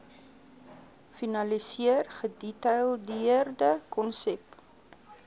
finaliseer gedetailleerde konsep